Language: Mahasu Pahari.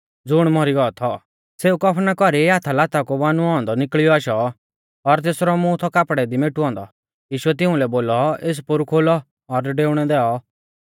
ज़ुण मौरी गौ थौ सेऊ कफना कौरी हाथा लाता कु बानुऔ औन्दौ निकल़ियौ आशौ और तेसरौ मुं थौ कापड़ै दी मेटुऔ औन्दौ यीशुऐ तिउंलै बोलौ एस पोरु खोलौ और डेउणै दैऔ